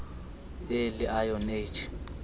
early iron age